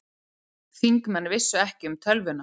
Þingmenn vissu ekki um tölvuna